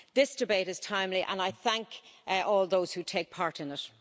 This debate is timely and I thank all those who take part in it.